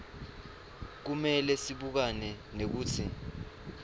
kumele sibukane nekutsi